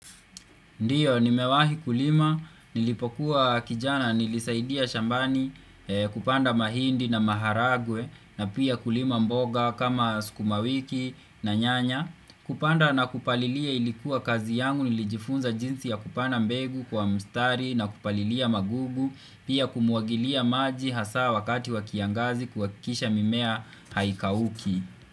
Ndiyo, nimewahi kulima. Nilipokuwa kijana nilisaidia shambani kupanda mahindi na maharagwe. Na pia kulima mboga kama sukumawiki na nyanya. Kupanda na kupalilia ilikuwa kazi yangu. Nilijifunza jinsi ya kupanda mbegu kwa mstari na kupalilia magugu. Pia kumwagilia maji hasa wakati wa kiangazi kuhakikisha mimea haikauki.